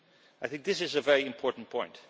I think this is a very important point.